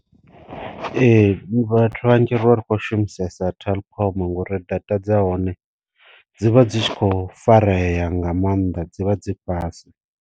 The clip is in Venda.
Ee vhathu vhanzhi ri vha ri khou shumisesa telkom ngori data dza hone dzi vha dzi tshi kho fareya nga mannḓa dzi vha dzi fhasi.